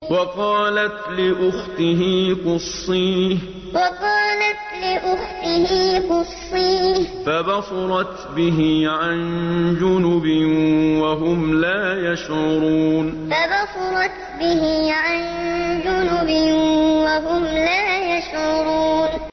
وَقَالَتْ لِأُخْتِهِ قُصِّيهِ ۖ فَبَصُرَتْ بِهِ عَن جُنُبٍ وَهُمْ لَا يَشْعُرُونَ وَقَالَتْ لِأُخْتِهِ قُصِّيهِ ۖ فَبَصُرَتْ بِهِ عَن جُنُبٍ وَهُمْ لَا يَشْعُرُونَ